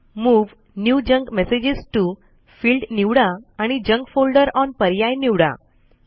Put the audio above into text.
move new junk message to field निवडा आणि junk folder on पर्याय निवडा